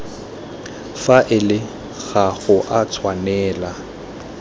faele ga go a tshwanela